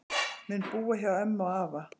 Mun búa hjá ömmu og afa